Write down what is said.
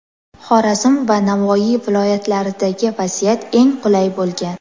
Xorazm va Navoiy viloyatlaridagi vaziyat eng qulay bo‘lgan.